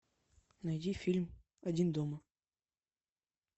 найди фильм один дома